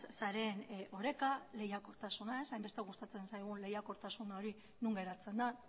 sareen oreka lehiakortasuna hainbeste gustatzen zaigun lehiakortasun hori non geratzen da